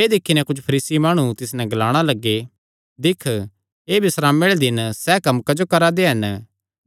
एह़ दिक्खी नैं कुच्छ फरीसी माणु तिस नैं ग्लाणा लग्गे दिक्ख एह़ बिस्रामे आल़े दिनैं सैह़ कम्म क्जो करा दे हन